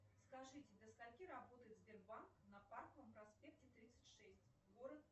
скажите до скольки работает сбербанк на парковом проспекте тридцать шесть город